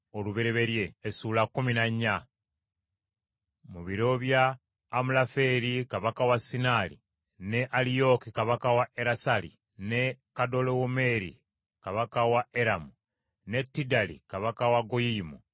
Mu biro bya Amulafeeri kabaka wa Sinaali, ne Aliyooki kabaka wa Erasali, ne Kedolawomeeri kabaka wa Eramu ne Tidali kabaka wa Goyiyimu,